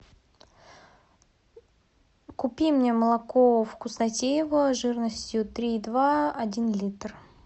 купи мне молоко вкуснотеево жирностью три и два один литр